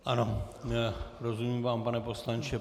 Ano, rozumím vám, pane poslanče.